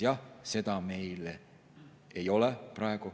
Jah, seda meil praegu ei ole.